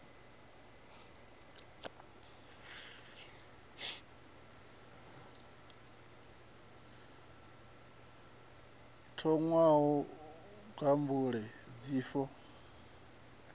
thoṅwa u lingwa mbeu dzifhio